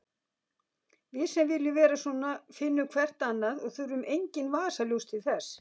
Við sem viljum vera svona finnum hvert annað og þurfum engin vasaljós til þess.